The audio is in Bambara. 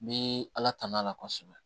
N bɛ ala tan'a la kosɛbɛ